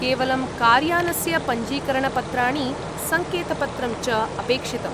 केवलं कार्यानस्य पञ्जीकरणपत्राणि, सङ्केतपत्रं च अपेक्षितम्।